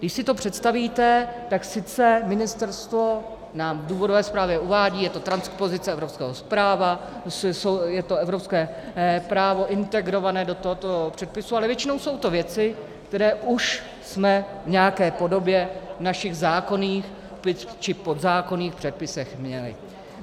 Když si to představíte, tak sice ministerstvo nám v důvodové zprávě uvádí, je to transpozice evropského práva, je to evropské právo integrované do tohoto předpisu, ale většinou jsou to věci, které už jsme v nějaké podobě v našich zákonných či podzákonných předpisech měli.